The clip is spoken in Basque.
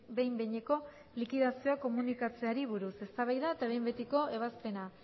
behin behineko likidazioa komunikatzeari buruz eztabaida eta behin betiko ebazpena